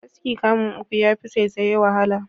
Askin kamu uku yafi saisaye wahala.